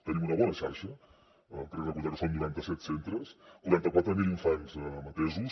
tenim una bona xarxa crec recordar que són noranta set centres quaranta quatre mil infants atesos